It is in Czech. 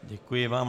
Děkuji vám.